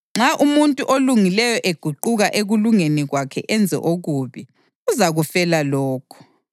Nxa umuntu olungileyo eguquka ekulungeni kwakhe enze okubi, uzakufela lokho.